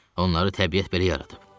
Onları təbiət belə yaradıb.